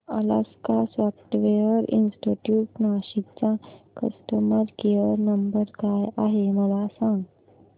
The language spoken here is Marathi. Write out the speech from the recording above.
अलास्का सॉफ्टवेअर इंस्टीट्यूट नाशिक चा कस्टमर केयर नंबर काय आहे मला सांग